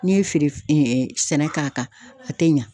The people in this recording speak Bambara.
N'i ye feere sɛnɛ k'a kan, a tɛ ɲa.